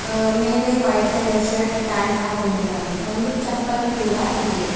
ಅ ಮೇಲೆ white colour shirt pant ಹಾಕೊಂಡಿದ್ದಾನೆ ಒಂದು ಚಪ್ಪಲ್ ಕೂಡ ಇದೆ.